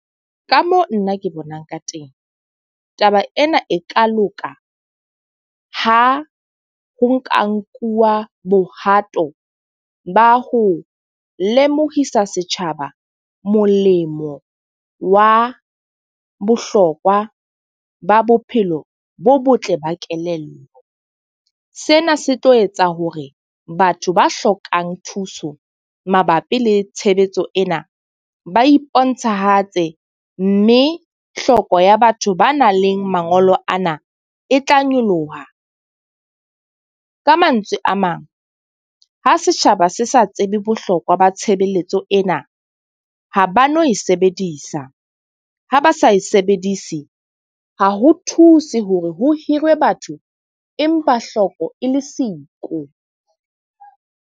Ka mo nna ke bonang ka teng. Taba ena e ka loka ha ho ka nkuwa bohato ba ho lemohisa setjhaba nolemo wa bohlokwa ba bophelo bo botle ba kelello. Sena se tlo etsa hore batho ba hlokang thuso mabapi le tshebetso ena. Ba iponahatse, mme hloko ya batho ba nang le mangolo ano e tla nyoloha. Ka mantswe a mang, ha setjhaba se sa tsebe bohlokwa ba tshebeletso ena, ha ba no e sebedisa. Ha ba sa e sebedise, ha ho thuse hore ho hirwe batho empa hloko e le siko.